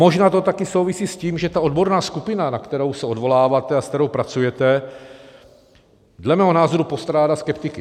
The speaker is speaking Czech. Možná to taky souvisí s tím, že ta odborná skupina, na kterou se odvoláváte a se kterou pracujete, dle mého názoru postrádá skeptiky.